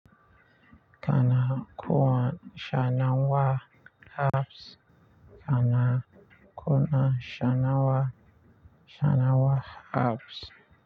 Kana kuwa shanawa abs, kana kuna shanawa, shanawa abs.